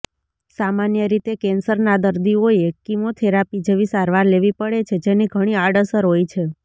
સામાન્ય રીતે કેન્સરના દર્દીઓએ કીમોથેરાપી જેવી સારવાર લેવી પડે છે જેની ઘણી આડઅસર હોય છે